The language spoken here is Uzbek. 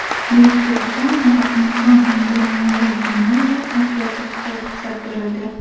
Buyuk Britaniyada inson embrionlari genomini o‘zgartirishga ruxsat berildi.